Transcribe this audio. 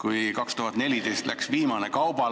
Aastal 2014 läks viimane kaubalaev.